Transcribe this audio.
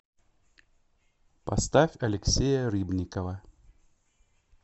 поставь алексея рыбникова